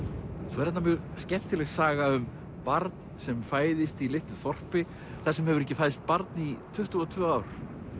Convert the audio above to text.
svo er þarna mjög skemmtileg saga um barn sem fæðist í litlu þorpi þar sem hefur ekki fæðst barn í tuttugu og tvö ár